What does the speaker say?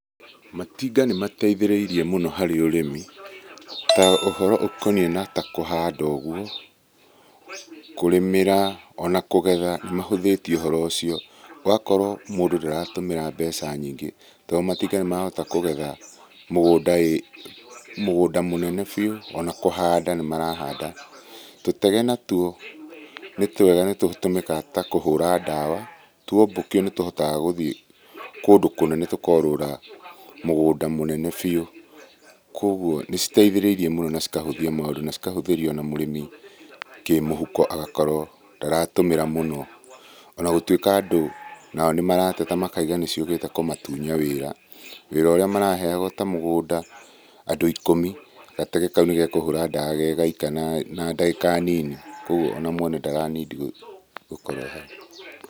Matinga nĩ mateithĩrĩirie mũno harĩ ũrĩmi na ũhoro ũkoniĩ na ta kũhanda ũguo kũrĩmĩra ona kũgetha, nĩ mahũthĩtie ũhoro ũcio. Ũgakorwo mũndũ ndaratũmĩra mbeca nyingĩ tondũ matinga nĩ marahota kũgetha mũgunda, mũnene biũ ona kũhanda nĩ marahanda. Tũtege nĩ twega nĩ tũtũmĩkaga na kũhũra ndawa , tuombũkio nĩ tũhotaga gũthiĩ kũndũ kũnene tũkorũra mũgũnda mũnene biũ. Koguo nĩ citeithĩrĩirie mũno na cikahũthia maũndũ na cikahũthĩria ona mũrĩmi kĩmũhũko agakorwo ndaratũmĩra mũno. Ona gũtuĩka andũ nao nĩ marateta makaiga nĩ ciũkĩte kumatunya wĩra, wĩra ũrĩa maraheagwo ta mũgũnda andũ ikũmi gatege kau nĩgakũhũra ndawa gegaika na ndagĩka nini koguo ona mwene ndaranindi gũkorwo ehau.